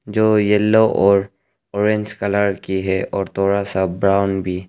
जो येलो और orange colour की है और थोड़ा सा ब्राउन भी।